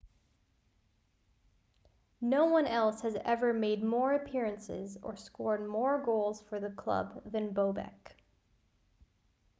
no one else has ever made more appearances or scored more goals for the club than bobek